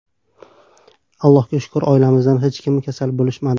Allohga shukr oilamizdan hech kim kasal bo‘lishmadi.